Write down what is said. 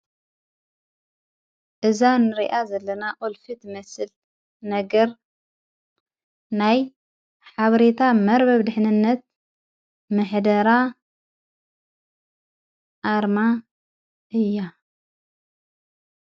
እዛ ንርኣ ዘለና ኦልፊት መስል ነገር ናይ ሓብሬታ መርበብ ድኅንነት ምሕደራ ኣርማ እያ::